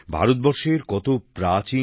ভারতবর্ষের কত প্রাচীন